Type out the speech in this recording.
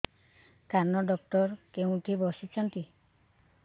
କାନ ଡକ୍ଟର କୋଉଠି ବସୁଛନ୍ତି